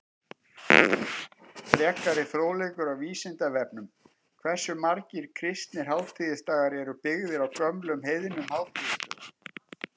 Frekari fróðleikur á Vísindavefnum: Hversu margir kristnir hátíðisdagar eru byggðir á gömlum heiðnum hátíðisdögum?